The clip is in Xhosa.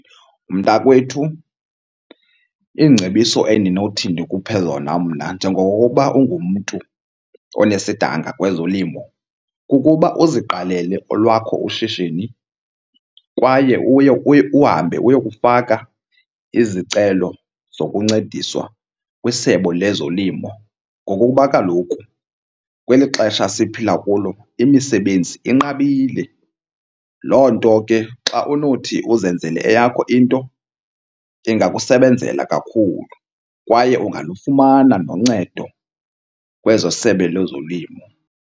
Mntakwethu, iingcebiso endinothi ndikhuphe zona mna njengokuba ungumntu onesidanga kwezolimo kukuba uziqalele olwakho ushishini kwaye uye uhambe uyokufaka izicelo zokuncediswa kwiSebe lezoLimo ngokuba kaloku kweli xesha siphila kulo imisebenzi inqabile. Loo nto ke xa unothi uzenzele eyakho into ingakusebenzela kakhulu kwaye ungalufumana noncedo kwezoSebe lezoLimo.